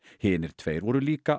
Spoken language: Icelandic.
hinir tveir voru líka